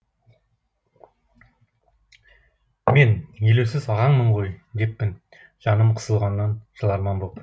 мен елеусіз ағаңмын ғой деппін жаным қысылғаннан жыларман боп